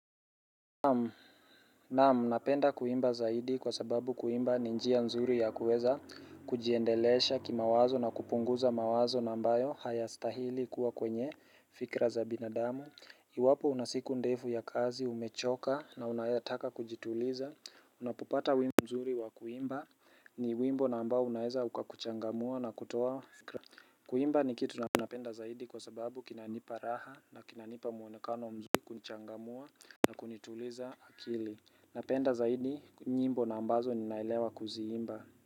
Naam, napenda kuimba zaidi kwa sababu kuimba ni njia nzuri ya kuweza kujiendeleza kimawazo na kupunguza mawazo ambayo hayastahili kuwa kwenye fikira za binadamu Iwapo una siku ndefu ya kazi umechoka na unataka kujituliza Unapopata wimbo nzuri wa kuimba ni wimbo na ambao unaeza ukakuchangamua na kutoa fikira Kuimba ni kitu napenda zaidi kwa sababu kinanipa raha na kinanipa muonekano mzuri kunichangamua na kunituliza akili Napenda zaidi nyimbo na ambazo ninaelewa kuziimba.